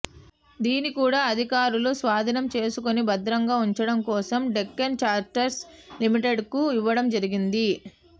దీన్ని కూడా అధికారులు స్వాధీనం చేసుకొని భద్రంగా ఉంచడం కోసం డెక్కన్ ఛార్టర్స్ లిమిటెడ్కు ఇవ్వడం జరిగింది